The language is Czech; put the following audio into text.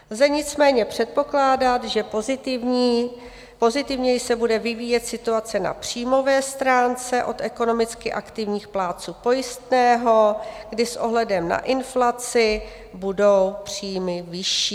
Lze nicméně předpokládat, že pozitivněji se bude vyvíjet situace na příjmové stránce od ekonomicky aktivních plátců pojistného, kdy s ohledem na inflaci budou příjmy vyšší.